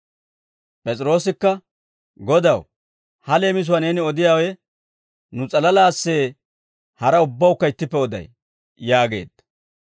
P'es'iroosikka «Godaw, ha leemisuwaa neeni odiyaawe nu s'alalaassee haraa ubbawukka ittippe oday?» yaageedda.